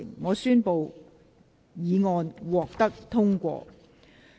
我宣布議案獲得通過。